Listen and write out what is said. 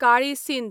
काळी सिंध